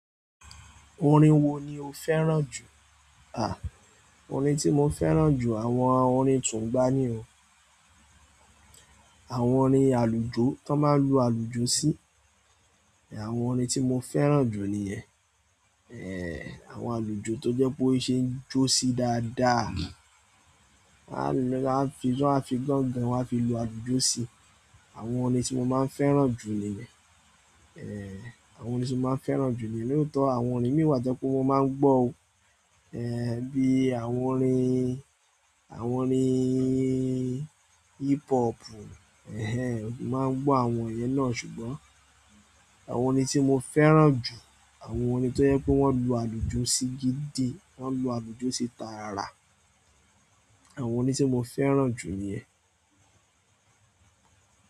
Orin wo ni o fẹ́ràn jù? À, orin tí mo fẹ́ràn jù, àwọn orin túngba ni o, àwọn orin àlùjó, tó máa ń lu àlùjó sí, è àwọn orin tí mo fẹ́ràn jù nìyẹn. Èèh, àwọn àlùjó tó jẹ pé ó ṣe ń jó sí dáadáa, wọ́n á fi gángan wá fi lu àlùjó sí. Àwọn orin tí mo máa ń fẹ́ràn jù nìyẹn. Èèh, àwọn orin tí mo máa ń fẹ́ràn jù nìyẹn. Ní òótọ́ àwọn orin mìíràn jẹ pé mo máa ń gbọ́ o, èèh, bí i àwọn orin, àwọn orin hip hopù, ẹhẹn, mo máa ń gbọ́ àwọn yẹn náà ṣùgbọ́n àwọn orin tí mo fẹ́ràn jù, àwọn orin tó jẹ́ pé wọ́n lu àlùjó sí gidi, wọ́n lu àlùjó sí taara, àwọn orin tí mo fẹ́ràn jù ni yẹn.